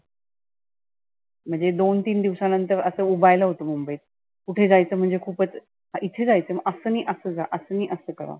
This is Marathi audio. म्हणजे दोन तीन दिवसांनंतर असं उबायला होतं मुंबईत. कुठे जायचं म्हणजे खुपच, इथे जायचय मग असं नाही असं जा, असं नाही असं करा.